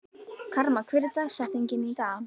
Karma, hver er dagsetningin í dag?